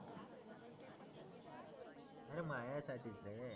अरे मायासाठीच रे